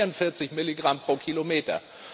das sind 44 Milligramm pro Kilometer.